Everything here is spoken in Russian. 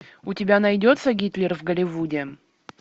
у тебя найдется гитлер в голливуде